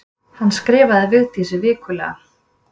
Hann skrifaði Vigdísi vikulega.